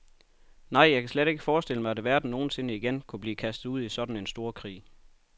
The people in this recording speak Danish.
Nej, jeg kan slet ikke forestille mig, at verden nogensinde igen kunne blive kastet ud i sådan en storkrig.